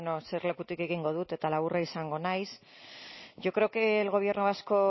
bueno eserlekutik egingo dut eta laburra izango naiz yo creo que el gobierno vasco